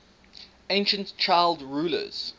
ancient child rulers